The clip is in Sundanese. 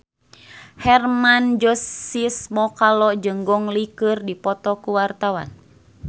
Hermann Josis Mokalu jeung Gong Li keur dipoto ku wartawan